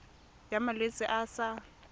ya malwetse a a sa